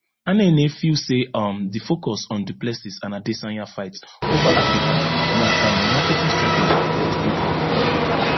anene feel say um di focus on du plessis and adesanya fight ova africa na um marketing strategy but good one